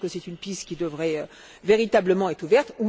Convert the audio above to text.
Je pense que c'est une piste qui devrait véritablement être ouverte.